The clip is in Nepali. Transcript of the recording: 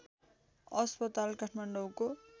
अस्पताल काठमाडौँको